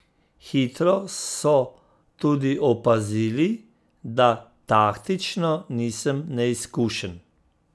Hitro so tudi opazili, da taktično nisem neizkušen.